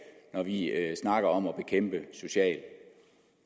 når vi snakker om at bekæmpe social